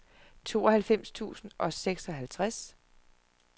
tooghalvfems tusind og seksoghalvtreds